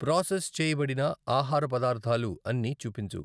process చేయబడిన ఆహార పదార్ధాలు అన్ని చూపించు